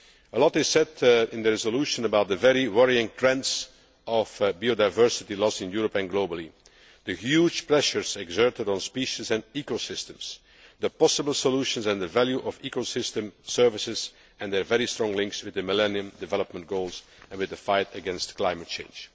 Much is said in the resolution about the very worrying trends of biodiversity loss in Europe and globally, the huge pressures exerted on species and ecosystems, the possible solutions, the value of ecosystem services and their very strong links with the Millennium Development Goals and the fight against climate change.